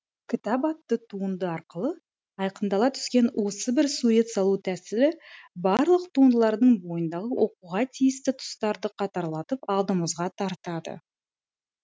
кітап атты туынды арқылы айқындала түскен осы бір сурет салу тәсілі барлық туындылардың бойындағы оқуға тиісті тұстарды қатарлатып алдымызға тартады